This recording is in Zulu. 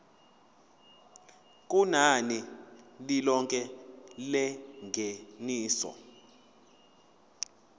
kunani lilonke lengeniso